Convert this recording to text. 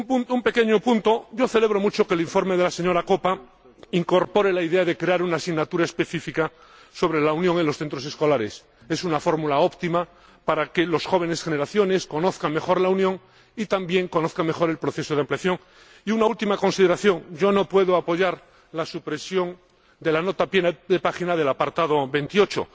Un pequeño apunte celebro mucho que el informe de la señora Koppa incorpore la idea de crear una asignatura específica sobre la Unión en los centros escolares. Es una fórmula óptima para que las jóvenes generaciones conozcan mejor la Unión y también conozcan mejor el proceso de ampliación. Y una última consideración no puedo apoyar la supresión de la nota a pie de página del apartado veintiocho